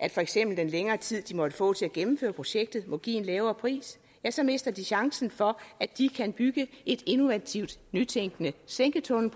at for eksempel den længere tid de måtte få til at gennemføre projektet må give en lavere pris så mister de chancen for at de kan bygge en innovativt nytænkende sænketunnel